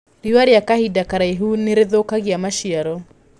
Rĩũa gwa kahinda karaihu nĩrĩthũkagia maciaro.